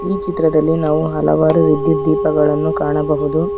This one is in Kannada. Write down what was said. ಈ ಚಿತ್ರದಲ್ಲಿ ನಾವು ಹಲವಾರು ವಿದ್ಯುತ್ ದೀಪಗಳನ್ನು ಕಾಣಬಹುದು.